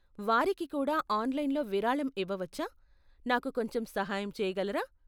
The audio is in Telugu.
వారికి కూడా ఆన్లైన్లో విరాళం ఇవ్వవచ్చా, నాకు కొంచెం సహాయం చేయగలరా?